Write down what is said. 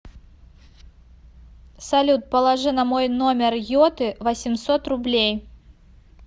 салют положи на мой номер йоты восемьсот рублей